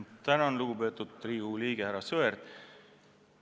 Tänan, lugupeetud Riigikogu liige härra Sõerd!